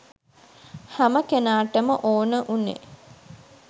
හැම කෙනාටම ඕන උනේ